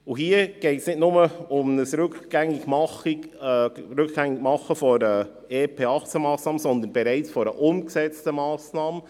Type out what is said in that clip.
Hier geht es nicht nur um das Rückgängigmachen einer EP-2018-Massnahme, sondern um eine bereits umgesetzte Massnahme.